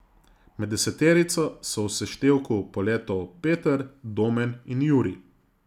Med deseterico so v seštevku poletov Peter, Domen in Jurij.